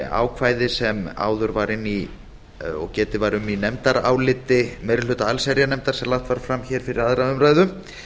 ákvæði sem áður var inni í og getið var um í nefndaráliti meiri hluta allsherjarnefndar sem lagt var fram hér fyrir aðra umræðu